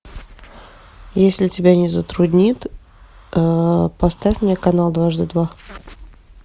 если тебя не затруднит поставь мне канал дважды два